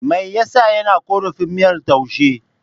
Me ya sa yake korafin miyar taushen?